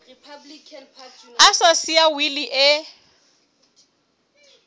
a sa siya wili e